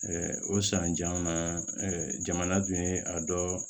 o sanjalan na jamana dun ye a dɔ